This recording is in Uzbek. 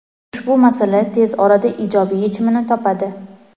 Ushbu masala tez orada ijobiy yechimini topadi.